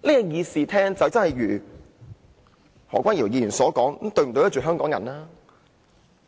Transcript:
那麼這個議事廳便會如何君堯議員所問，這樣對得起香港人麼？